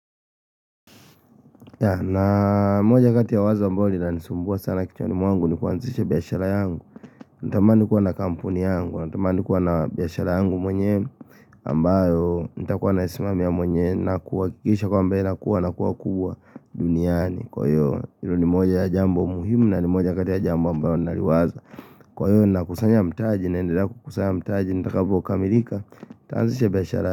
Na moja kati ya wazo ambayo linanisumbua sana kichwani mwangu ni kuanzisha biashara yangu nitamani kuwa na kampuni yangu, nitamani kuwa na biashara yangu mwenyewe ambayo nitakuwa naisimamia mwenyewe na kuhakikisha kwamba inakua na kuwa kubwa duniani, Kwa hiyo hilo ni moja ya jambo muhimu na ni moja kati ya jambo ambayo naliwaza Kwa hiyo ninakusanya mtaji, nendelea kukusanya mtaji, nitakavyokamilika nitaanzisha biashara.